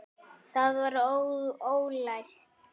Það var ólæst.